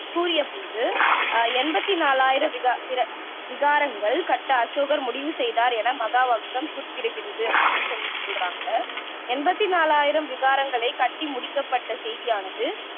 கூறிய போது எண்பத்தி நாலாயிரம் விகா விர விகாரங்கள் கட்ட அசோகர் முடிவு செய்தார் என மகாவம்சம் குறிப்பிடுகிறது அப்படின்னு சொல்லி சொல்றங்க எண்பத்தி நாலாயிரம் விகாரங்களை கட்டி முடிக்கப்பட்ட செய்தியானது